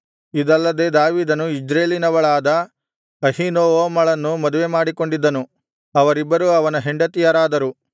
ಇದಲ್ಲದೆ ದಾವೀದನು ಇಜ್ರೇಲಿನವಳಾದ ಅಹೀನೋವಮಳನ್ನು ಮದುವೆಮಾಡಿಕೊಂಡಿದ್ದನು ಅವರಿಬ್ಬರೂ ಅವನ ಹೆಂಡತಿಯರಾದರು